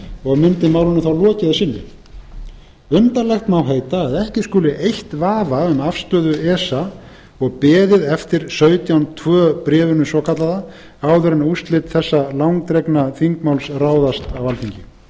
og mundi málinu þá lokið að sinni undarlegt má heita að ekki skuli eytt vafa um afstöðu esa og beðið eftir sautján tvö bréfinu svokallaða áður en úrslit þessa langdregna þingmáls ráðast á alþingi